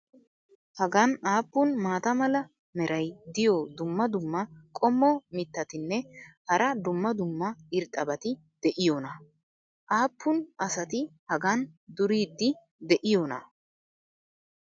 hagan aappun maata mala meray diyo dumma dumma qommo mitattinne hara dumma dumma irxxabati de'iyoonaa? aappun asati hagan duriidi de'iyoonaa?